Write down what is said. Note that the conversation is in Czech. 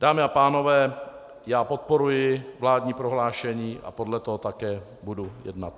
Dámy a pánové, já podporuji vládní prohlášení a podle toho také budu jednat.